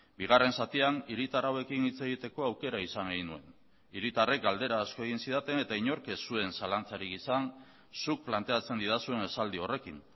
bigarren zatian hiritar hauekin hitz egiteko aukera izan egin nuen hiritarrek galdera asko egin zidaten eta inork ez zuen zalantzarik izan zuk planteatzen didazuen esaldi horrekin